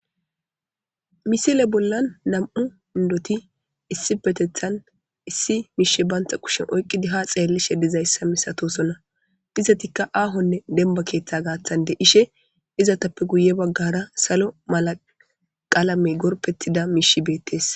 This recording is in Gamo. misile bollan nam'u indoti issipeteththan issi miishe bantha kushen oyqqidi ha xeellishe dizayssa misatosonna dizatikka aahonne demba keeththa gaathande ishe izatappe guye baggara salo malaqalamey gorpettida miishi beettees